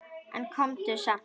En komdu samt!